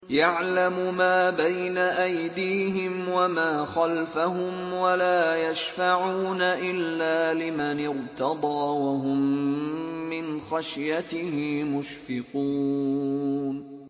يَعْلَمُ مَا بَيْنَ أَيْدِيهِمْ وَمَا خَلْفَهُمْ وَلَا يَشْفَعُونَ إِلَّا لِمَنِ ارْتَضَىٰ وَهُم مِّنْ خَشْيَتِهِ مُشْفِقُونَ